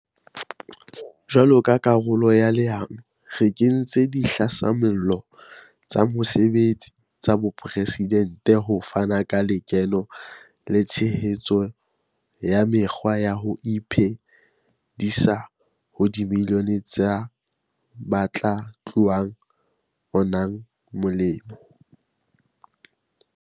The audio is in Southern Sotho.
Jwalo ka karolo ya leano, re kentse Dihlasimollo tsa Mosebetsi tsa Bopresidente ho fana ka lekeno le tshehetso ya mekgwa ya ho iphe disa ho dimilione tsa ba tla unang molemo.